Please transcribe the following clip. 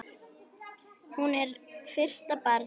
Hún er fyrsta barn.